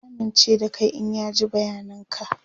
zai amince da Kai in ya ji bayanan ka